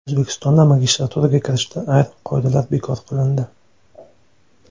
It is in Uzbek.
O‘zbekistonda magistraturaga kirishda ayrim qoidalar bekor qilindi.